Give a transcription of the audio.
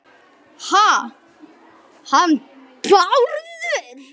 Ha- hann Bárður?